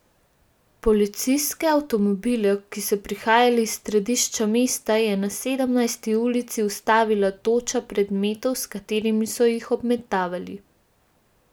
Policijske avtomobile, ki so prihajali iz središča mesta, je na Sedemnajsti ulici ustavila toča predmetov, s katerimi so jih obmetavali.